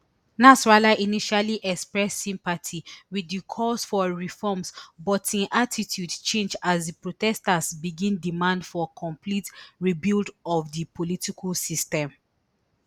nasrallah initially express sympathy wit di calls for reforms but im attitude change as di protesters begin demand for complete rebuild of di political system